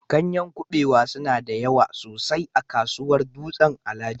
Ganyen kabewa suna da yawa sosai a kasuwar Dutsen-Alhaji